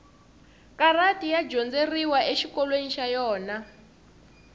karati ya dyondzeriwa exikolweni xa yona